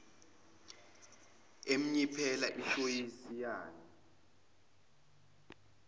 emnyiphela ishoysi yani